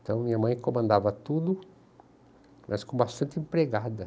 Então, minha mãe comandava tudo, mas com bastante empregada.